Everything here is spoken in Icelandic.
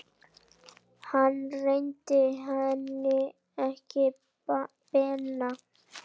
Hann réttir henni ekki penna.